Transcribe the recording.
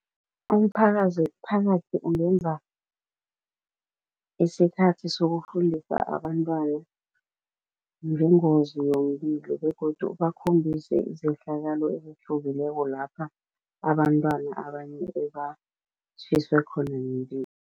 Umphakathi ungenza isikhathi sokufundisa abantwana ngengozi yomlilo begodu ubakhombise izehlakalo ezihlukileko lapha abantwana abanye ebatjhiswe khona